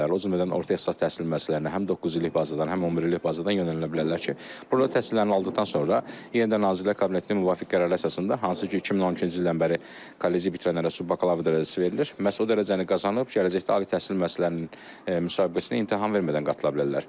O cümlədən orta ixtisas təhsil müəssisələrinə həm doqquz illik bazadan, həm 11 illik bazadan yönəldilə bilərlər ki, burda təhsillərini aldıqdan sonra yenidən Nazirlər Kabinetinin müvafiq qərarı əsasında, hansı ki, 2012-ci ildən bəri kolleci bitirənlərə subbakalavr dərəcəsi verilir, məhz o dərəcəni qazanıb gələcəkdə ali təhsil müəssisələrinin müsabiqəsinə imtahan vermədən qatılı bilərlər.